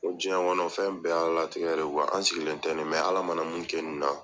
Ko diɲɛ kɔnɔ fɛn bɛɛ ye Ala latigɛ de ye . An sigilen tɛ nin, mɛ Ala mana min kɛ nin na